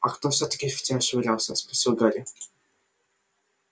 а кто всё-таки в тебя швырялся спросил гарри